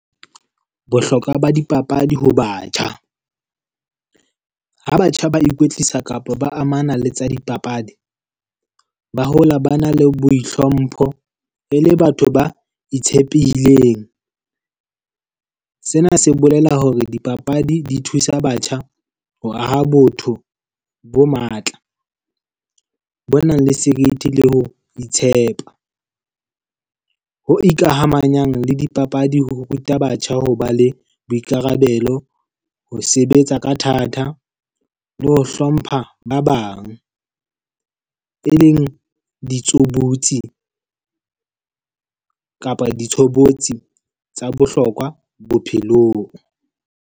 Bohlokwa ba dipapadi ho batjha. Ha batjha ba ikwetlisa kapa ba amana le tsa dipapadi, ba hola ba na le boi hlompho, e le batho ba itshepileng. Sena se bolela hore dipapadi di thusa batjha ho aha botho bo matla. Ba nang le serithi le ho itshepa. Ho ikamahanyang le dipapadi ho ruta batjha ho ba le boikarabelo, ho sebetsa ka thata, le ho hlompha ba bang. E leng ditshobotsi kapa ditshobotsi tsa bohlokwa bophelong.